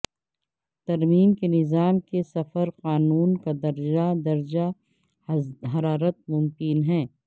ترمیم کے نظام کے صفر قانون کا درجہ درجہ حرارت ممکن ہے